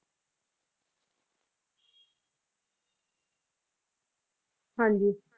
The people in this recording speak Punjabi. ਹਾਂਜੀ ਹਾਂਜੀ